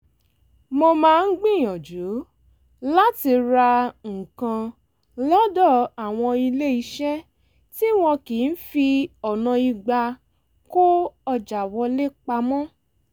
mo máa ń gbìyànjú láti ra nǹkan lọ́dọ̀ àwọn ilé-eṣẹ́ tí wọn kì í fi ọ̀nà ìgbà-kó-ọjà wọlé pamọ́